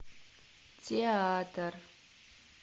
театр